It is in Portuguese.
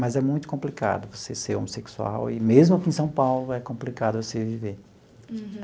Mas é muito complicado você ser homossexual, e mesmo aqui em São Paulo, é complicado você viver.